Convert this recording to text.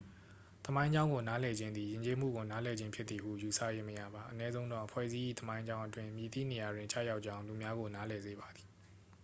သမိုင်းကြောင်းကို နားလည်ခြင်းသည် ယဉ်ကျေးမှုကိုနားလည်ခြင်းဖြစ်သည်ဟု ယူဆ၍မရပါ အနည်းဆုံးတော့ အဖွဲ့အစည်း၏ သမိုင်းကြောင်းအတွင်း မည်သည့် နေရာတွင် ကျရောက်ကြောင်း လူများကို နားလည် စေပါသည်